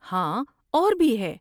ہاں، اور بھی ہے۔